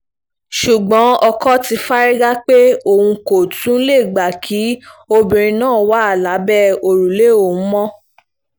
ṣùgbọ́n ọkọ ti fárígá pé òun kò tún lè gbà kí obìnrin náà wà lábẹ́ òrùlé òun mọ́